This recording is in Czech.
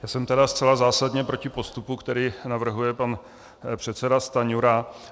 Já jsem tedy zcela zásadně proti postupu, který navrhuje pan předseda Stanjura.